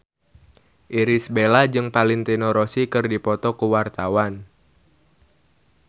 Irish Bella jeung Valentino Rossi keur dipoto ku wartawan